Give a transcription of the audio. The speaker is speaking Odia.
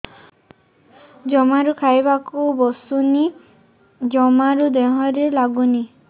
ଜମାରୁ ଖାଇବାକୁ ବସୁନି ଜମାରୁ ଦେହରେ ଲାଗୁନି